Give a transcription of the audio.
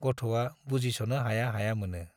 गथ'आ बुजिस'नो हाया हाया मोनो।